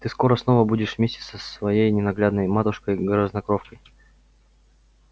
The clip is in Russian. ты скоро снова будешь вместе со своей ненаглядной матушкой-грязнокровкой